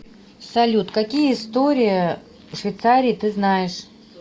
салют какие история швейцарии ты знаешь